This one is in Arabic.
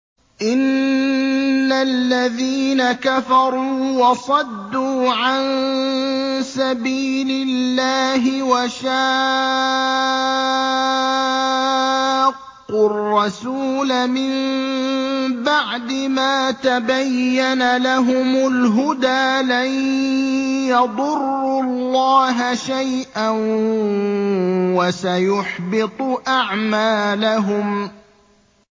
إِنَّ الَّذِينَ كَفَرُوا وَصَدُّوا عَن سَبِيلِ اللَّهِ وَشَاقُّوا الرَّسُولَ مِن بَعْدِ مَا تَبَيَّنَ لَهُمُ الْهُدَىٰ لَن يَضُرُّوا اللَّهَ شَيْئًا وَسَيُحْبِطُ أَعْمَالَهُمْ